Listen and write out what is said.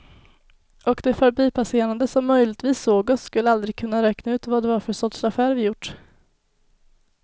Och de förbipasserande som möjligtvis såg oss skulle aldrig kunna räkna ut vad det var för sorts affär vi gjort.